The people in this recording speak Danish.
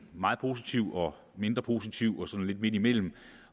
meget positiv og mindre positiv og så noget lidt midtimellem